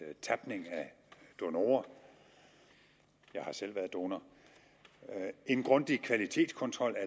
tapning af donorer jeg har selv været donor en grundig kvalitetskontrol af